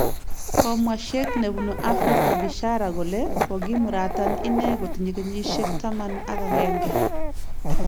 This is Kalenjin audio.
Komwo shekh nebunu Afrika Bishara kole kogimuratan ine kotinye kenyisyek taman ak agenge